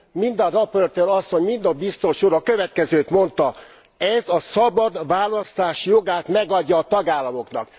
Mind a raportőr asszony, mind a biztos úr a következőt mondta ez a szabad választás jogát megadja a tagállamoknak!